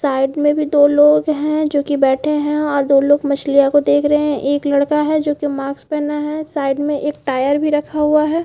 Side में भी दो लोग है जो की बैठे है और दो लोग मछलिया को देख रहे है। एक लड़का है जो की मार्क्स पहना है। साइड में एक टायर भी रखा हुआ है।